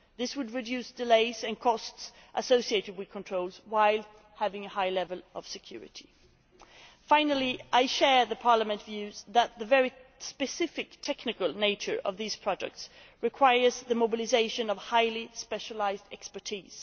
This would reduce delays and costs associated with controls while providing a high level of security. Finally, I share Parliament's views that the very specific technical nature of these products requires the mobilisation of highly specialised expertise.